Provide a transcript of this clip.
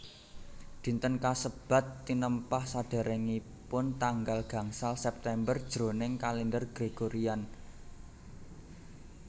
Dinten kasebat tinempah saderengipun tanggal gangsal September jroning kalender Gregorian